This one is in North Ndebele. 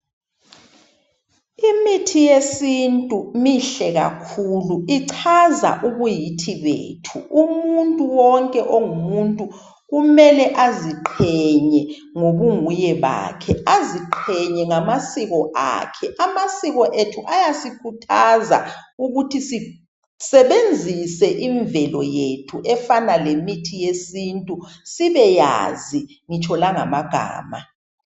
Imithi yesintu mihle kakhulu ichaza ubuyithi bethu umuntu wonke ongumuntu kumele aziqhenye ngobunguye bakhe aziqhenye ngamasiko akhe, amasiko ethi ayasikuthaza ukuthi sisebenzise imvelo yethu efana lemithi yesintu sibeyazi ngitsho langama gama.